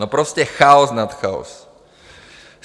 No prostě chaos nad chaos.